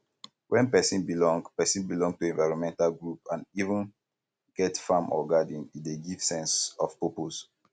when person belong person belong to environmental group and even get farm or garden e dey give sense of purpose